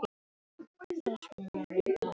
Hvernig nærðu til hennar?